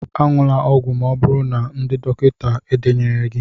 añula ọgwụ Ma oburu na ndị dọkịta edenyeghi gi